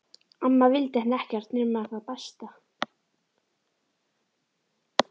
Amma vildi henni ekkert nema það besta.